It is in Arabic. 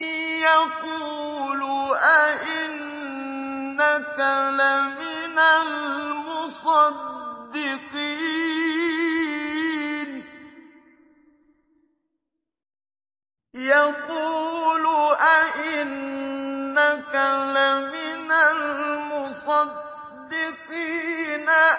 يَقُولُ أَإِنَّكَ لَمِنَ الْمُصَدِّقِينَ